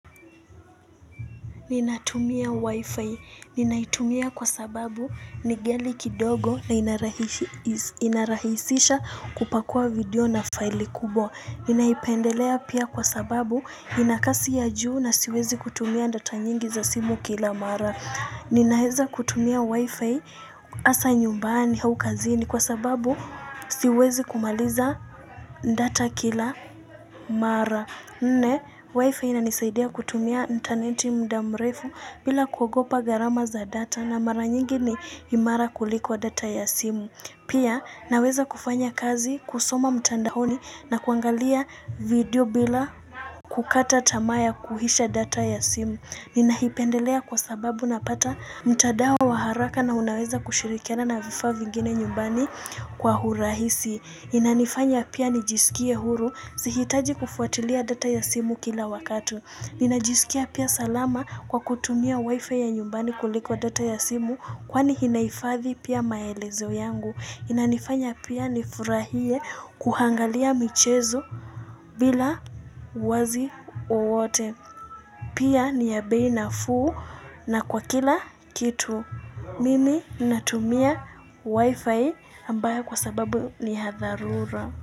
Ninatumia wifi, ninaitumia kwa sababu ni ghali kidogo na inarahisisha kupakua video na file kubwa Ninaipendelea pia kwa sababu ina kasi ya juu na siwezi kutumia data nyingi za simu kila mara Ninaeza kutumia wifi asa nyumbani hau kazini kwa sababu siwezi kumaliza data kila mara Nne waifa ina nisaidea kutumia interneti mda mrefu bila kuogopa garama za data na mara nyingi ni imara kuliko data ya simu. Pia naweza kufanya kazi kusoma mtandahoni na kuangalia video bila kukata tamaa ya kuhisha data ya simu. Ninahipendelea kwa sababu napata mtadao wa haraka na unaweza kushirikiana na vifaa vingine nyumbani kwa hurahisi. Inanifanya pia nijisikie huru sihitaji kufuatilia data ya simu kila wakati Ninajisikia pia salama kwa kutumia wifi ya nyumbani kuliko data ya simu Kwani hinaifadhi pia maelezo yangu Inanifanya pia nifurahie kuhangalia michezo bila wazi uwote Pia ni ya bei nafuu na kwa kila kitu Mimi natumia wifi ambayo kwa sababu ni hadharura.